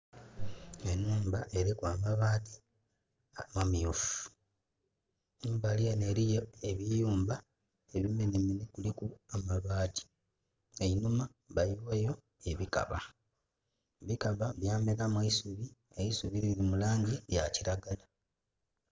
Enhumba eriku amabaati amamyufu Embali enho eriyo ebiyumba ebimenhemenhe kuliku amabati. Einhuma bayiwayo ebikaba, ebikaba byameramu eisubi, eisubi liri mu langi yakilagala.